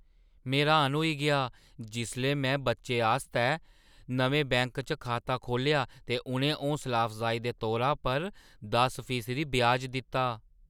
में र्‌हान होई गेआ जिसलै मैं बच्चे आस्तै नमें बैंक च खाता खोह्‌ल्लेआ ते उʼनें हौसला-अफजाई दे तौरा पर दस फीसदी ब्याज दित्ता।